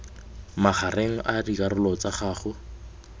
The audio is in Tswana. magareng a dikarolo tsa gago